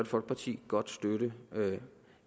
folkeparti godt støtte